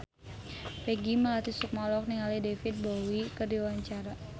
Peggy Melati Sukma olohok ningali David Bowie keur diwawancara